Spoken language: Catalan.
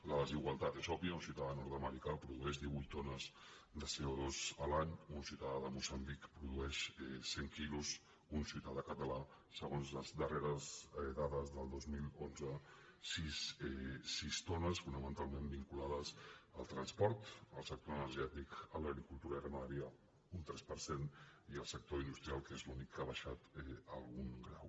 la desigualtat és òbvia un ciutadà nord americà produeix divuit tones de co2 l’any un ciutadà de moçambic produeix cent quilos un ciutadà català segons les darreres dades del dos mil onze sis tones fonamentalment vinculades al transport al sector energètic a l’agricultura i ramaderia un tres per cent i al sector industrial que és l’únic que ha baixat algun grau